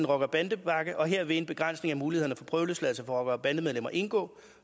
rocker bande pakke og her vil en begrænsning af mulighederne for prøveløsladelse for rocker og bandemedlemmer indgå